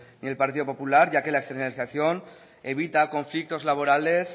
ni el partido popular ya que la externalización evita conflictos laborables